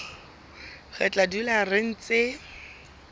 re tla dula re ntse